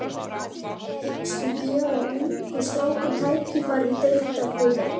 Hyggstu gefa ungu strákunum tækifæri í Deildabikarnum?